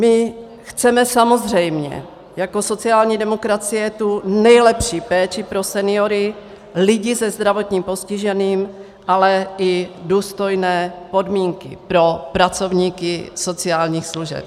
My chceme samozřejmě jako sociální demokracie tu nejlepší péči pro seniory, lidi se zdravotním postižením, ale i důstojné podmínky pro pracovníky sociálních služeb.